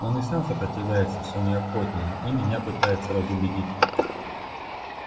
он и сам сопротивляется всё неохотнее и меня пытается разубедить